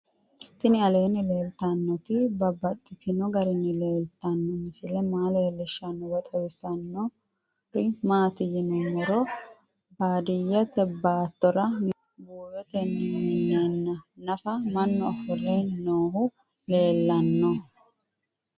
Tinni aleenni leelittannotti babaxxittinno garinni leelittanno misile maa leelishshanno woy xawisannori maattiya yinummoro baadiyeette baattora mine buuyottenni mineenna naffara mannu ofolle noohu leelanno